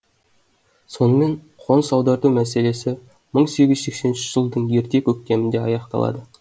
сонымен қоныс аударту мәселесі мың сегіз жүз сексен үшінші жылдың ерте көктемінде аяқталады